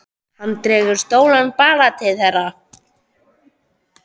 Hann dregur stóran bala til þeirra.